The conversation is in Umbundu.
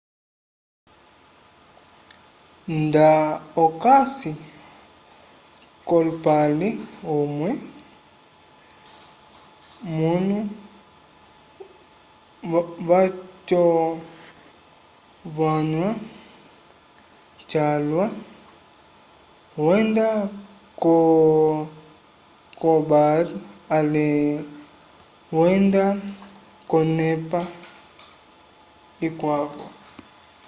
nda okasi kolupale umwe mwnu vaco vanyua calwa wenda ko ko bar ale wenda konepa ikwavo